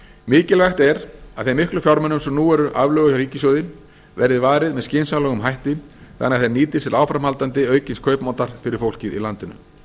mikilvægt er að þeim miklu fjármunum sem nú eru aflögu hjá ríkissjóði verði varið með skynsamlegum hætti þannig að þeir nýtist til áframhaldandi aukins kaupmáttar fyrir fólkið í landinu